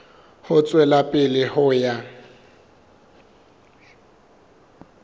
ho tswela pele ho ya